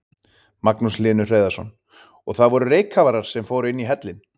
Magnús Hlynur Hreiðarsson: Og það voru reykkafarar sem fóru inn í hellinn?